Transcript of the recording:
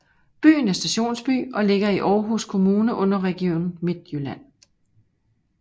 Byen er stationsby og ligger i Aarhus Kommune under Region Midtjylland